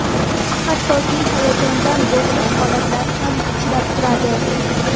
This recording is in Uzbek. Hattoki hayajondan bo‘g‘ilish holatlari ham uchrab turadi.